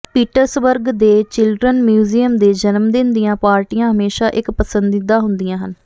Pittsburgh ਦੇ children museum ਦੇ ਜਨਮਦਿਨ ਦੀਆਂ ਪਾਰਟੀਆਂ ਹਮੇਸ਼ਾਂ ਇਕ ਪਸੰਦੀਦਾ ਹੁੰਦੀਆਂ ਹਨ